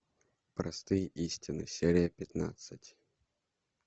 простые истины серия пятнадцать